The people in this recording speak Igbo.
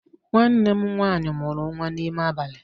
Nwanne m nwaanyị mụrụ nwa n'ime abalị